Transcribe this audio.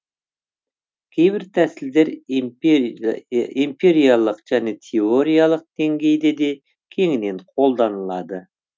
кейбір тәсілдер эмпириялық және теориялық деңгейде де кеңінен қолданылады